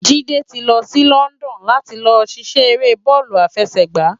Jide ti lò si London làti lò sisè éré bòlú àfèsègbá